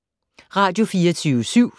Radio24syv